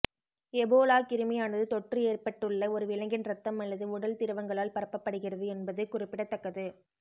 Ebola கிருமியானது தொற்று ஏற்பட்டுள்ள ஒரு விலங்கின் ரத்தம் அல்லது உடல் திரவங்களால் பரப்படுகிறது என்பது குறிப்பிடத்தக்கது